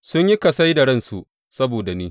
Sun yi kasai da ransu saboda ni.